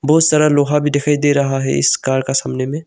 बहुत सारा लोहा भी दिखाई दे रहा है इस कार का सामने में।